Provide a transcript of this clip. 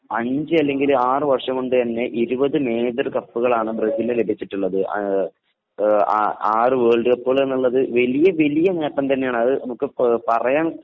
അഞ്ചു അല്ലെങ്കിൽ ആറു വര്ഷം കൊണ്ട്തന്നെ ഇരുപത് മേജർ കപ്പുകളാണ് ബ്രസീലിനു ലഭിച്ചിട്ടുള്ളത്. ആറു വേൾഡ് കപ്പുകൾ എന്നത് വലിയ വലിയ നേട്ടം തന്നെയാണ് .